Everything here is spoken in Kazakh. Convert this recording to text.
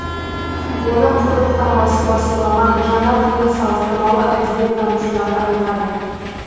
оны құлдық таңбасы басылмаған жаңа буын салыстырмалы әдебиеттанушылары айтады